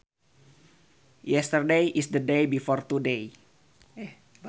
Yesterday is the day before today